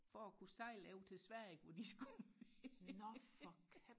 for og kunne sejle over til Sverige hvor de skulle være